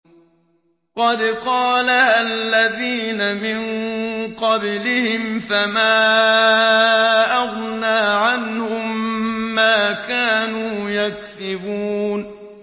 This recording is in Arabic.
قَدْ قَالَهَا الَّذِينَ مِن قَبْلِهِمْ فَمَا أَغْنَىٰ عَنْهُم مَّا كَانُوا يَكْسِبُونَ